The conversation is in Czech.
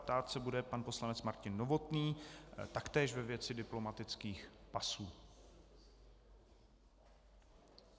Ptát se bude pan poslanec Martin Novotný, taktéž ve věci diplomatických pasů.